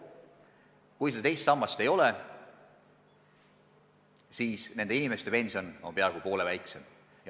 Kui teist sammast ei ole, siis on nende inimeste pension peaaegu poole väiksem.